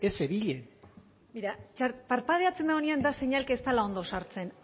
ez zebilen begira parpadeatzen dagoenean seinale da ez dela ondo sartzen